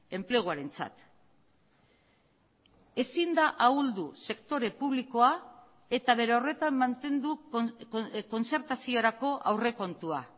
enpleguarentzat ezin da ahuldu sektore publikoa eta bere horretan mantendu kontzertaziorako aurrekontua